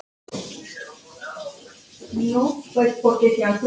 Heilu hverfin lögðust yfir melana.